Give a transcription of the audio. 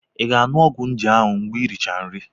Ị ga-aṅụ ọgwụ nje ahu mgbe i richara nri?